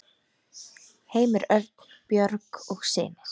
Heimir Örn, Björg og synir.